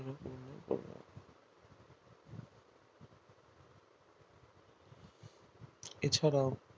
এছাড়াও